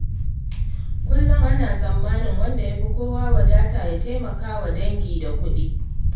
Kullum ana tsammanin wanda ya fi kowa wadata ya taimaka wa dangi da kuɗi.